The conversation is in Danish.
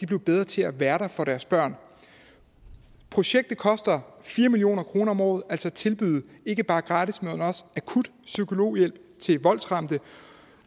blev bedre til at være der for deres børn projektet koster fire million kroner om året altså tilbuddet om ikke bare gratis men også akut psykologhjælp til voldsramte